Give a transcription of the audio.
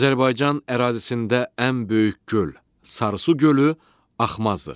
Azərbaycan ərazisində ən böyük göl, Sarısı gölü axmazdır.